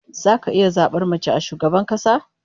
Zaka iya zabar mace a shugabar kasa?